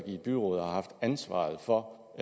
i et byråd og har haft ansvaret for